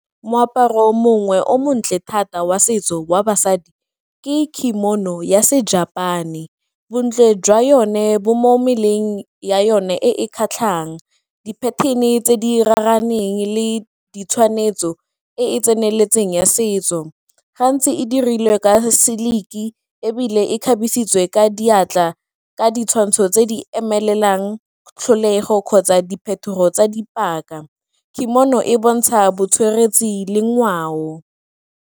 Moaparo mongwe o montle thata wa setso wa basadi ke kimono ya se-Japan-e, bontle jwa yone bo mo mmeleng ya yone e e kgatlhang di-pattern-e tse di raraneng le di tshwanetso e e tseneletseng ya setso. Gantsi e dirilwe ka silk-e ebile e kgabisitswe ka diatla ka ditshwantsho tse di emelang tlholego kgotsa diphetogo tsa dipaka, kimono e bontsha le ngwao.